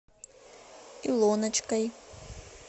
илоночкой